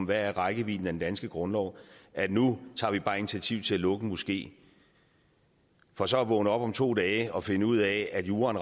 hvad rækkevidden af den danske grundlov er at nu tager vi bare initiativ til at lukke en moské for så at vågne op om to dage og finde ud af at juraen